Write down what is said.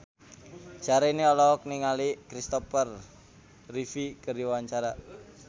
Syahrini olohok ningali Christopher Reeve keur diwawancara